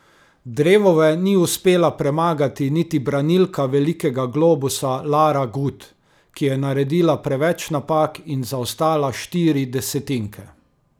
Drevove ni uspela premagati niti branilka velikega globusa Lara Gut, ki je naredila preveč napak in zaostala štiri desetinke.